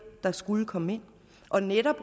der skulle komme ind og netop